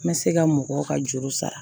N bɛ se ka mɔgɔw ka juru sara